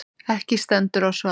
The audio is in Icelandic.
Ekki stendur á svari.